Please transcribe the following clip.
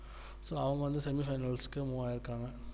so அவங்க வந்து semi finals move இருக்காங்க